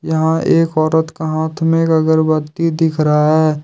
यहाँ एक औरत का हाथ में एक अगरबत्ती दिख रहा है।